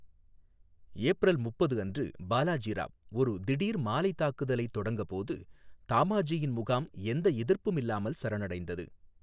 April முப்பது அன்று பாலாஜி ராவ் ஒரு திடீர் மாலைத் தாக்குதலைத் தொடங்கபோது, தாமாஜியின் முகாம் எந்த எதிர்ப்பும் இல்லாமல் சரணடைந்தது.